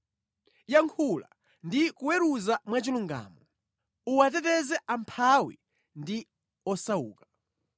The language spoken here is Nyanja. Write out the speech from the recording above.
Yankhula ndi kuweruza mwachilungamo. Uwateteze amphawi ndi osauka.